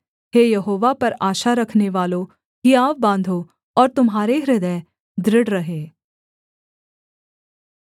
हे यहोवा पर आशा रखनेवालों हियाव बाँधो और तुम्हारे हृदय दृढ़ रहें